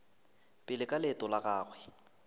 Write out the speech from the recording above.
pele ka leeto la gagwe